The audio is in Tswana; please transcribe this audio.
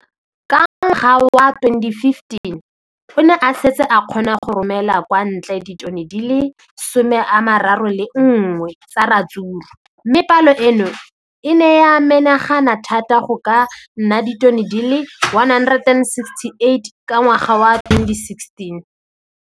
Ka ngwaga wa 2015, o ne a setse a kgona go romela kwa ntle ditone di le 31 tsa ratsuru mme palo eno e ne ya menagana thata go ka nna ditone di le 168 ka ngwaga wa 2016.